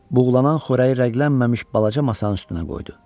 Buğlanan xörəyi rəglənməmiş balaca masanın üstünə qoydu.